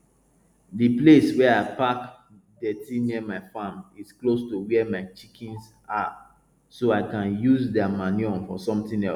the place where i park dirty near my farm is close to where my chickens are so i can use their manure for something else